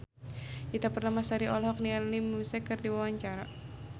Ita Purnamasari olohok ningali Muse keur diwawancara